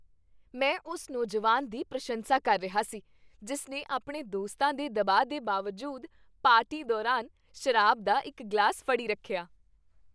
ਮੈਂ ਉਸ ਨੌਜਵਾਨ ਦੀ ਪ੍ਰਸ਼ੰਸਾ ਕਰ ਰਿਹਾ ਸੀ ਜਿਸ ਨੇ ਆਪਣੇ ਦੋਸਤਾਂ ਦੇ ਦਬਾਅ ਦੇ ਬਾਵਜੂਦ ਪਾਰਟੀ ਦੌਰਾਨ ਸ਼ਰਾਬ ਦਾ ਇੱਕ ਗਲਾਸ ਫੜੀ ਰੱਖਿਆ।